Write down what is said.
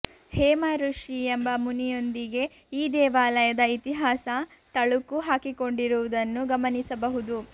ಹೇಮಋಷಿ ಎಂಬ ಮುನಿಯೊಂದಿಗೆ ಈ ದೇವಾಲಯದ ಇತಿಹಾಸ ತಳುಕು ಹಾಕಿಕೊಂಡಿರುವುದನ್ನು ಗಮನಿಸಬಹುದು